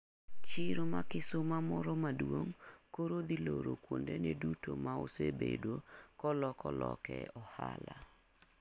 Chiro ma kisuma moro maduong' koro dhi loro kundone duto maosebedo kololoke ohala